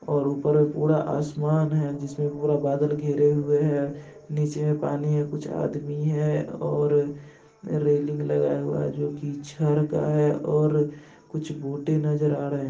और ऊपर मे पूरा आसमान है। जिसमें पूरे बादल घिरे हुए हैं नीचे मे पानी है कुछ आदमी हैं और रेलिंग लगाए हुआ है जो की छड़ का है और कुछ बोटे नजर आ रहे हैं।